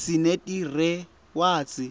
sinetirewadzi